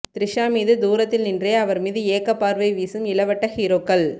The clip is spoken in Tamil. த்ரிஷா மீது தூரத்தில் நின்றே அவர் மீது ஏக்கப்பார்வை வீசும் இளவட்ட ஹீரோக்கள்